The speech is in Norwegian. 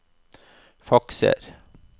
fakser